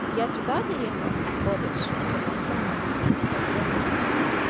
я туда доехала в тот колледж на таком странном расположении духа